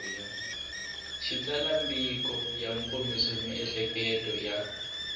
xitsalwambiko ya kombisa miehleketo ya